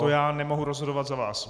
To já nemohu rozhodovat za vás.